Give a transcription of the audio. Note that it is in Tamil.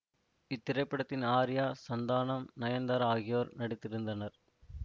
இத்திரைப்படத்தில் ஆர்யா சந்தானம் நயன்தாரா ஆகியோர் நடித்திருந்தனர்